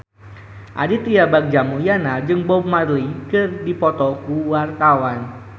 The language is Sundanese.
Aditya Bagja Mulyana jeung Bob Marley keur dipoto ku wartawan